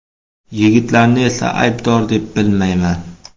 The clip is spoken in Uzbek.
Yigitlarni esa aybdor deb bilmayman.